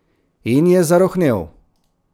In je zarohnel.